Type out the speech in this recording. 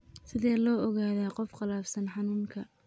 Sidee loo ogaadaa qof qallafsan xanuunka?